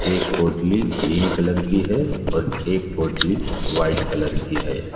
एक पोटली green colour की है और एक पोटली व्हाइट कलर की है।